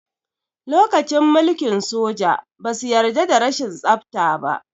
Lokacin mulkin soja, ba su yarda da rashin tsafta ba.